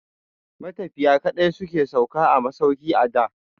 Matafiya kaɗai su ke sauka a masauki a da.